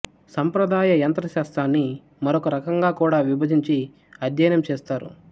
సంప్రదాయ యంత్రశాస్త్రాన్ని మరొక రకంగా కూడా విభజించి అధ్యయనం చేస్తారు